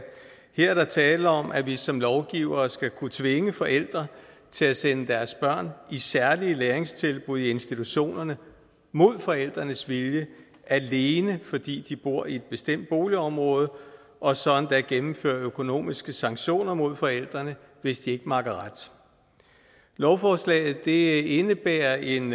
her er der tale om at vi som lovgivere skal kunne tvinge forældre til at sende deres børn i særlige læringstilbud i institutionerne mod forældrenes vilje alene fordi de bor i et bestemt boligområde og så endda gennemføre økonomiske sanktioner mod forældrene hvis de ikke makker ret lovforslaget indebærer en